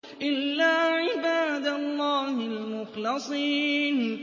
إِلَّا عِبَادَ اللَّهِ الْمُخْلَصِينَ